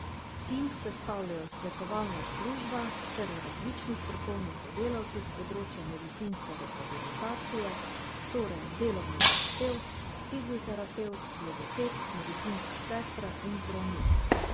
Tim sestavljajo svetovalna služba ter različni strokovni sodelavci s področja medicinske rehabilitacije, torej delovni terapevt, fizioterapevt, logoped, medicinska sestra in zdravnik.